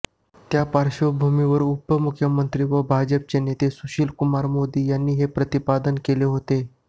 त्या पार्श्वभूमीवर उपमुख्यमंत्री व भाजपचे नेते सुशीलकुमार मोदी यांनी हे प्रतिपादन केले होते